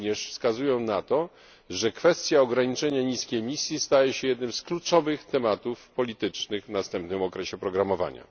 Wskazują one również na to, że kwestia ograniczenia niskiej emisji staje się jednym z kluczowych tematów politycznych w następnym okresie programowania.